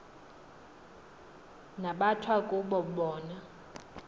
nabathwa kuba wona